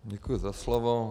Děkuji za slovo.